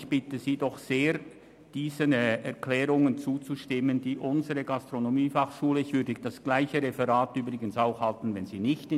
Ich bitte Sie doch sehr, diesen Planungserklärungen zuzustimmen und für unsere Gastronomiefachschule heute Nachmittag ein Votum einzulegen.